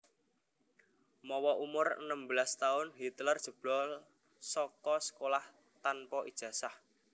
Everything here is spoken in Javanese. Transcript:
Mawa umur enem belas taun Hitler jebol saka sekolah tanpa ijazah